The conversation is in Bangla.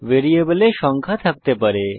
ভ্যারিয়েবলে a100 সংখ্যা থাকতে পারে